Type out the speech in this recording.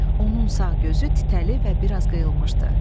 Onun sağ gözü titrəli və biraz qıyılmışdı.